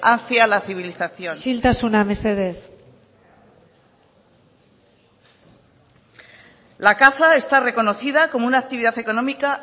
hacia la civilización isiltasuna mesedez la caza está reconocida como una actividad económica